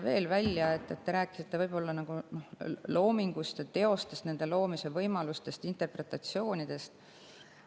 Te rääkisite loomingust ja teostest, nende loomise võimalustest, interpretatsioonidest.